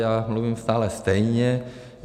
Já mluvím stále stejně.